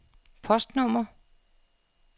postnummer